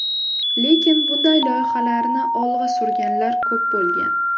Lekin bunday loyihalarni olg‘a surganlar ko‘p bo‘lgan.